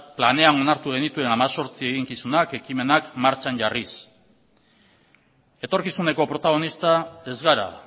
planean onartu genituen hemezortzi eginkizunak eta ekimenak martxan jarriz etorkizuneko protagonista ez gara